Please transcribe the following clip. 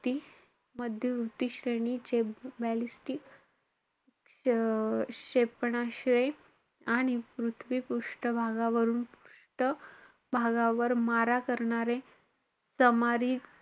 मध्ये उच्च श्रेणीचे ballistic क्ष~ क्षेपणास्त्रे आणि पृथ्वी पृष्टभागावरुन पृष्ठ भागावर मारा करणारे,